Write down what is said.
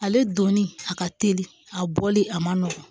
Ale donni a ka teli a bɔli a man nɔgɔn